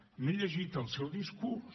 m’he llegit el seu discurs